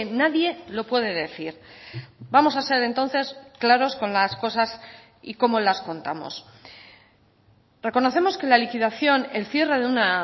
nadie lo puede decir vamos a ser entonces claros con las cosas y cómo las contamos reconocemos que la liquidación el cierre de una